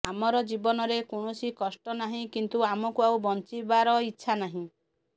ଆମର ଜୀବନରେ କୌଣସି କଷ୍ଟ ନାହିଁ କିନ୍ତୁ ଆମକୁ ଆଉ ବଞ୍ଚିବାର ଇଚ୍ଛା ନାହିଁ